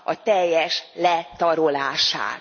teljes letarolását.